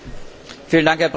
Herr Präsident!